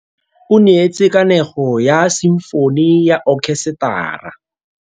O neetse kanegô ya simfone ya okhesetara.